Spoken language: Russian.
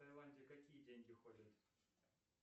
в таиланде какие деньги ходят